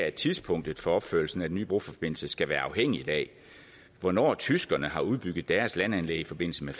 at tidspunktet for opførelsen af den nye broforbindelse skal være afhængig af hvornår tyskerne har udbygget deres landanlæg i forbindelse med